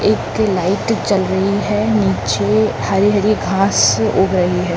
एक लाइट चल रही है नीचे हरी-हरी घास उग रही है।